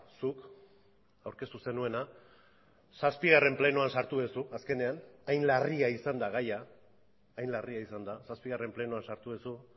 zuk aurkeztu zenuena zazpigarren plenoan sartu duzu azkenean hain larria izan da gaia hain larria izan da zazpigarren plenoan sartu duzu